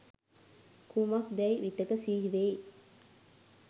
කුමක්දැයි විටෙක සිහිවෙයි.